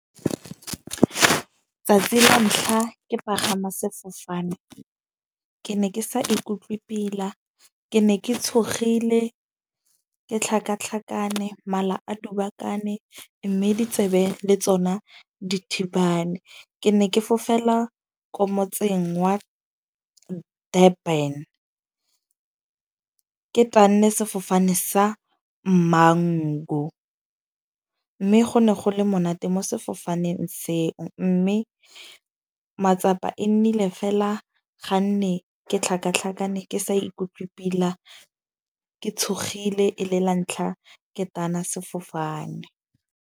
Tsatsi la ntlha ke pagama sefofane ke ne ke sa ikutlwe pila. Ke ne ke tshogile, ke tlhakatlhakane mala a dubakane. Mme ditsebe le tsona dithibane. Ke ne ke fofela ko motseng wa Durban. Ke tanne sefofane sa Mango. Mme go ne go le monate mo sefofaneng seo, mme matsapa e nnile fela ga nne ke tlhakatlhakane, ke sa ikutlwe pila. Ke tshogile e le la ntlha ke tana sefofane.